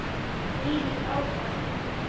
Þvílíkt áfall.